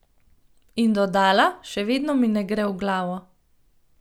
In dodala: "Še vedno mi ne gre v glavo.